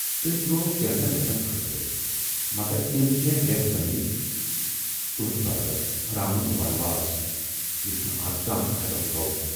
تُہۍ درایوٕ کینژن رٮ۪تن خٲطرٕ مگر تِم کینہہ رٮ۪تھ بنے یہِ تُہٕندِ باپتھ رامُن ونواس، یُس نہٕ ازتام ختٕم گوو۔